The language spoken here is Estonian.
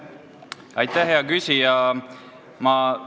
Aitäh, hea küsija!